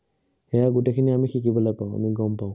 সেইয়া আমি গোটেইখিনি আমি শিকিবলৈ পাওঁ, আমি গম পাওঁ।